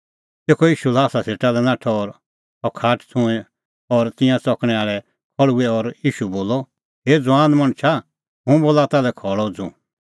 तेखअ ईशू ल्हासा सेटा लै नाठअ और सह खाट छ़ुंईं और तिंयां च़कणैं आल़ै खल़्हुऐ और ईशू बोलअ हे ज़ुआन मणछा हुंह बोला ताल्है खल़अ उझ़ू